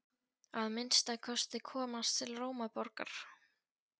Að minnsta kosti komast til Rómaborgar.